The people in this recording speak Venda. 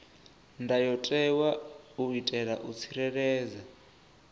ndayotewa u itela u tsireledza